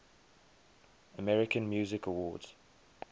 american music awards